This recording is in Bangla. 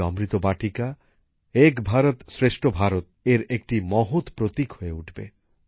এই অমৃত বাটিকা এক ভারত শ্রেষ্ঠ ভারতের একটি মহৎ প্রতীক হয়ে উঠবে